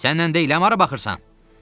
Səninlə deyiləm, hara baxırsan?